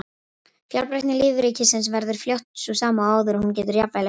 Fjölbreytni lífríkisins verður fljótt sú sama og áður og hún getur jafnvel aukist.